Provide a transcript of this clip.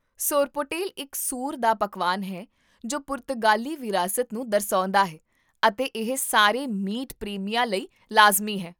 ਸੋਰਪੋਟੇਲ ਇੱਕ ਸੂਰ ਦਾ ਪਕਵਾਨ ਹੈ ਜੋ ਪੁਰਤਗਾਲੀ ਵਿਰਾਸਤ ਨੂੰ ਦਰਸਾਉਂਦਾ ਹੈ ਅਤੇ ਇਹ ਸਾਰੇ ਮੀਟ ਪ੍ਰੇਮੀਆਂ ਲਈ ਲਾਜ਼ਮੀ ਹੈ